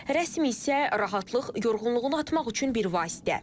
Rəsm isə rahatlıq, yorğunluğunu atmaq üçün bir vasitə.